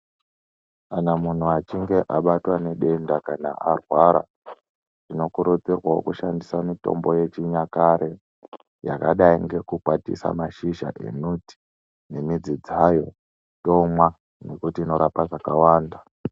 Kana muntu achinge abatwa nedenda kana arwara tino kurudzirwawo kushandisa mitombo yechinyakare yakadai ngeku kwatisa mashizha emuti nemidzi dzayo tomwa nekuti inorapa zvakawanda.